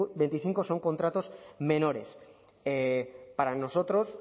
veinticinco son contratos menores para nosotros